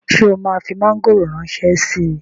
Ṣé o máa fi mọ́ngòrò ránṣẹ́ síi?